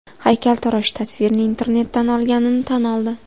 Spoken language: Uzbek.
Haykaltarosh tasvirni internetdan olganini tan oldi.